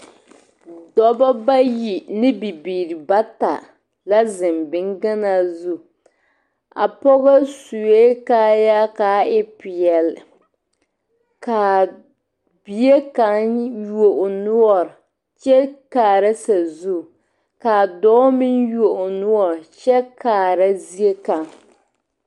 Dɔbɔ bayi ne bibiiri bata la zeŋ boŋ ganaa zu pɔgɔ sue kaaya ka a e peɛle ka bie kaŋa yuo o noɔre kyɛ kaara sazu ka a dɔɔ meŋ yuo o noɔre kyɛ kaara zie kaŋ.